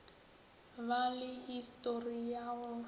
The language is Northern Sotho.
ba le histori ya go